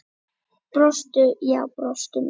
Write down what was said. Brostu, já brostu nú!